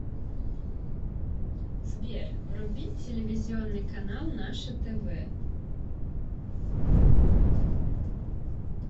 сбер вруби телевизионный канал наше тв